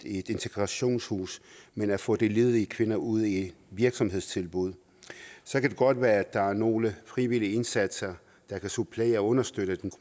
i et integrationshus men at få de ledige kvinder ud i virksomhedstilbud så kan det godt være at der er nogle frivillige indsatser der kan supplere og understøtte den